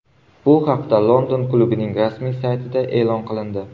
Bu haqda London klubining rasmiy saytida e’lon qilindi .